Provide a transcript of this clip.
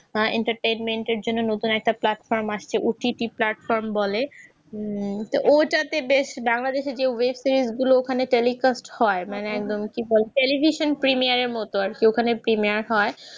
entertainment এর জন্য নতুন একটা platform আসছে OTT platform বলে উম ওইটাতে বেশ বাংলাদেশের যে web series গুলো ওখানে telecast হয় মানে একদম কি বলে television premier এর মত আর কি ওখানে premier হয়